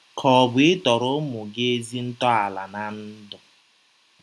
Ka ọ̀ bụ ịtọrọ ụmụ gị ezi ntọala ná ndụ?